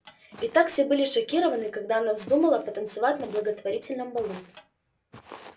и как все были шокированы когда она вздумала потанцевать на благотворительном балу